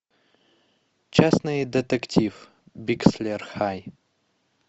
частный детектив бикслер хай